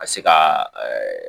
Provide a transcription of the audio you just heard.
Ka se ka ɛɛ